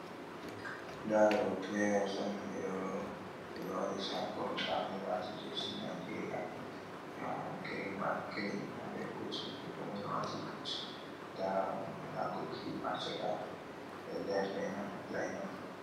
Nda ɗo pileyas on ɓe waɗi saykul. Nda ɓe ɗo waati jesi Nanjeeriya girin wayit girin habe but maɓɓe komoy ɗo waati but ndaa gokipa ha caka ɓe ɗo dari reena fayinop.